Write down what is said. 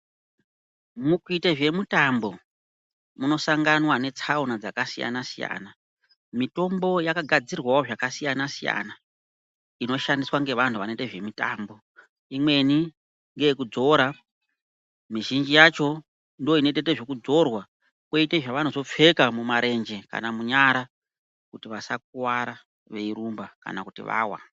Mukuita zvemutambo munosanganwa netsaona dzakasiyana -siyana, mitombo yakagadzirwawo zvakasiyana -siyana, inoshandiswa ngevantu vanoite zvemitambo. Imweni ngeyekudzora, mizhinji yacho inotoite zvekudzorwa kwoite zvavanozopfeka mumarenje kana munyara kuti vasakuwara kana veirumba kana kuti vawa.